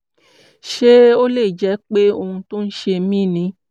ṣé ó lè jẹ́ pé ohun tó ń ṣe mí ni?